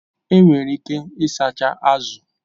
Enwere ike ịsacha azụ